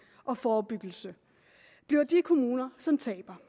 og forebyggelse bliver de kommuner som taber